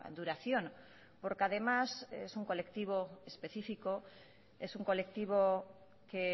duración porque además es un colectivo especifico es un colectivo que